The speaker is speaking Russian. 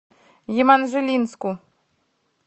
еманжелинску